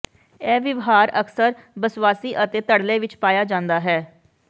ਇਹ ਵਿਵਹਾਰ ਅਕਸਰ ਬੱਸਵਾਸੀ ਅਤੇ ਧੜੱਲੇ ਵਿਚ ਪਾਇਆ ਜਾਂਦਾ ਹੈ